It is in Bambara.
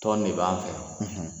Tɔn ne b'an fɛ yan.